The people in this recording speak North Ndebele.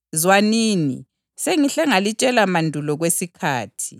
Zwanini, sengihle ngalitshela mandulo kwesikhathi.